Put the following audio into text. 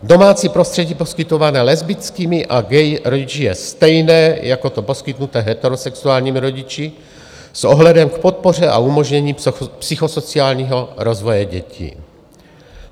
Domácí prostředí poskytované lesbickými a gay rodiči je stejné jako to poskytnuté heterosexuálními rodiči s ohledem k podpoře a umožnění psychosociálního rozvoje dětí.